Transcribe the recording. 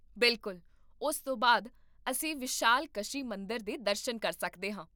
ਬਿਲਕੁਲ, ਉਸ ਤੋਂ ਬਾਅਦ ਅਸੀਂ ਵਿਸ਼ਾਲਕਸ਼ੀ ਮੰਦਰ ਦੇ ਦਰਸ਼ਨ ਕਰ ਸਕਦੇ ਹਾਂ